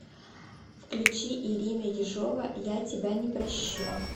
включи ирина ежова я тебя не прощу